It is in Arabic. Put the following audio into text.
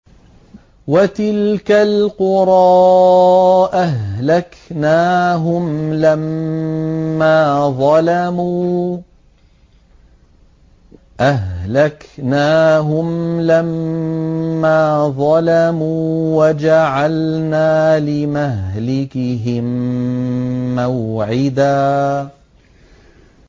وَتِلْكَ الْقُرَىٰ أَهْلَكْنَاهُمْ لَمَّا ظَلَمُوا وَجَعَلْنَا لِمَهْلِكِهِم مَّوْعِدًا